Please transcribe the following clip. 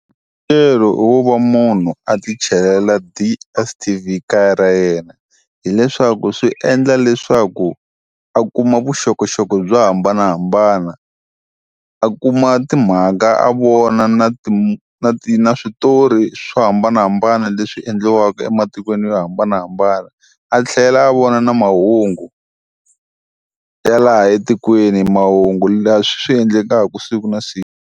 Wa munhu a ti chelela DSTV kaya ra yena, hileswaku swi endla leswaku a kuma vuxokoxoko byo hambanahambana. A kuma timhaka a vona na ti na ti na switori swo hambanahambana leswi endliwaka ematikweni yo hambanahambana, a tlhela a vona na mahungu, ya laha etikweni. Mahungu leswi swi endlekaka siku na siku.